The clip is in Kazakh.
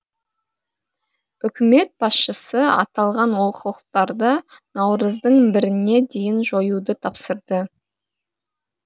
үкімет басшысы аталған олқылықтарды наурыздың біріне дейін жоюды тапсырды